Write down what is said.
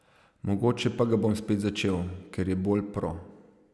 Mogoče pa ga bom spet začel, ker je bolj pro.